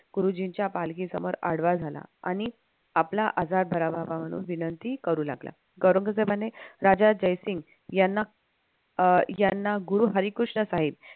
गुरुजींच्या पालखी समोर आडवा झाला आणि आपला आजार बरा व्हावा म्हणून विनंती करू लागला. औरंगजेबाने राजा जयसिंग यांना अं यांना गुरु हरिकृष्ण साहेब